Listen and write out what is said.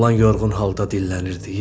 Oğlan yorğun halda dillənirdi.